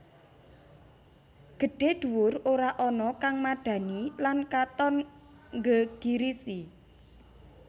Gedhé dhuwur ora ana kang madhani lan katon nggegirisi